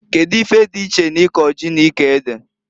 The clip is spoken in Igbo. Kedu ife dị iche na iko ji na iko ede?